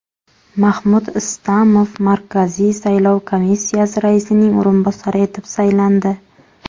Mahmud Istamov Markaziy saylov komissiyasi raisining o‘rinbosari etib saylandi.